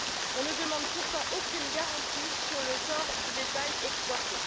On ne demande pourtant aucune garantie sur le sort du bétail exporté.